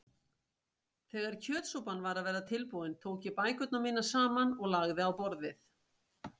Þegar kjötsúpan var að verða tilbúin tók ég bækurnar mínar saman og lagði á borðið.